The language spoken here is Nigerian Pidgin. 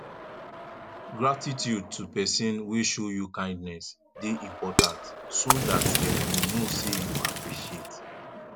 gratitude to persin wey show you kindness de important so that dem go know say you appreciate